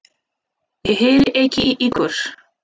Ég heyri ekki í ykkur.